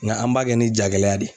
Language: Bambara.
Nka an b'a kɛ ni jagɛlɛya de ye.